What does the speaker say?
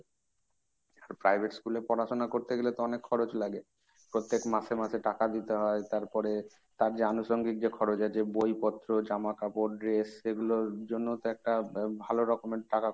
private school এ পড়াশোনা করতে গেলে তো অনেক খরচ লাগে। প্রত্যেক মাসে মাসে টাকা দিতে হয় তারপরে তার যে আনুষাঙ্গিক যে খরচ আছে বইপত্র, জামা কাপড়, dress সেগুলোর জন্যও তো একটা ভালো রকমের টাকা